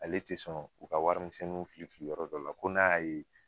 Ale te sɔn u ka warimisɛnninw fili fili yɔrɔ dɔ la ko n'a y'a ye